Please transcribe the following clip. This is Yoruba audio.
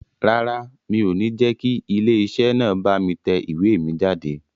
Rárá, mi ò ní jẹ́ kí ilé iṣẹ́ náà bá mi tẹ ìwé mi jáde